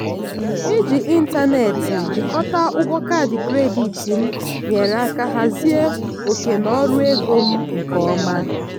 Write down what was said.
iji ịntanetị jikọta ụgwọ kaadị kredit m nyere aka hazie oke n'ọrụ ego m nke ọma.